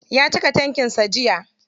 Ya cika tankin sa jiya.